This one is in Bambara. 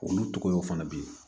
Olu cogoyaw fana bɛ yen